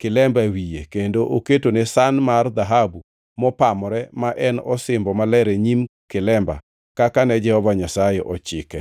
kilemba e wiye, kendo oketone san mar dhahabu mopamore, ma en osimbo maler e nyim kilemba kaka ne Jehova Nyasaye ochike.